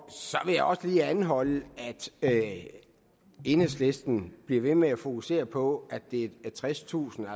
så vil jeg også lige anholde at enhedslisten bliver ved med at fokusere på at det er tredstusind